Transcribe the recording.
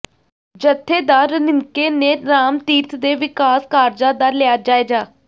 ਜਥੇਦਾਰ ਰਣੀਕੇ ਨੇ ਰਾਮਤੀਰਥ ਦੇ ਵਿਕਾਸ ਕਾਰਜਾਂ ਦਾ ਲਿਆ ਜਾਇਜ਼ਾ